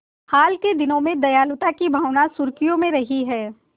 हाल के दिनों में दयालुता की भावना सुर्खियों में रही है